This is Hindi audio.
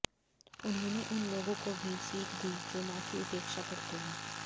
उन्होंने उन लोगों को भी सीख दी जो मां की उपेक्षा करते हैं